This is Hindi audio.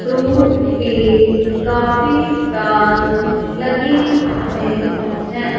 फ्रूट के काफी स्टॉल लगे हुए हैं।